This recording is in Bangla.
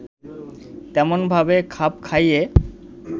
তেমনভাবে খাপ খাইয়ে